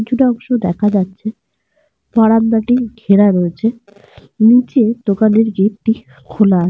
এবং যে বাড়িটি রয়েছে বাড়িটি গোলাপি রঙের। ওপরে বারান্দার।